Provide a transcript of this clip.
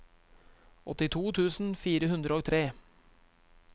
åttito tusen fire hundre og tre